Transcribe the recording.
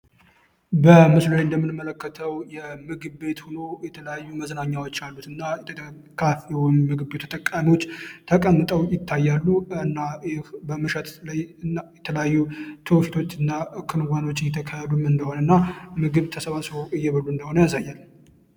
እንደምንመለከተው የምግብ ቤት ሆኖ የተለያዩ መዝናኛ ተጠቃሚዎች ተቀምጠው ይታያሉ እና የተለያዩ እንደሆነ ምግብ እንደሆነ ያሳያል